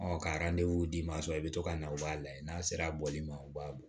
ka d'i ma sɔn i bɛ to ka na u b'a lajɛ n'a sera bɔli ma u b'a bɔ